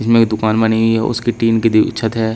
इसमें एक दुकान बनी हुई है उसकी टीन की दी छत है।